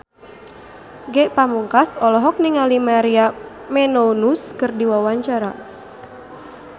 Ge Pamungkas olohok ningali Maria Menounos keur diwawancara